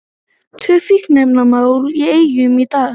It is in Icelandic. Tvö fíkniefnamál í Eyjum í dag